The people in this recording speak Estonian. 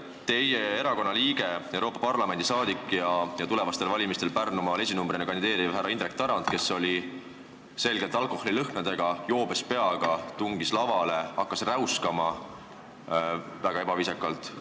Teie erakonna liige, Euroopa Parlamendi liige ja tulevastel valimistel Pärnumaal esinumbrina kandideeriv härra Indrek Tarand, kes oli selgelt alkoholilõhnadega, tungis joobes peaga lavale ja hakkas väga ebaviisakalt räuskama.